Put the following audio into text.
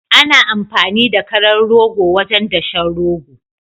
Ana amfani da karan rogo wajen dashen rogo